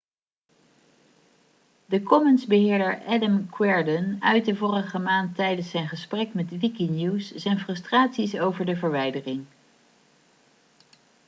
de commons-beheerder adam cuerden uitte vorige maand tijdens zijn gesprek met wikinews zijn frustraties over de verwijdering